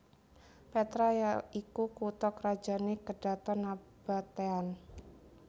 Petra ya iku kutha krajané Kedhaton Nabatean